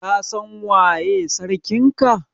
Ka San waye sarkin ka?